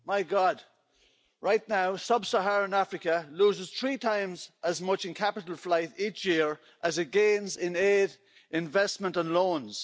My God, right now sub Saharan Africa loses three times as much in capital flight each year as it gains in aid investment and loans.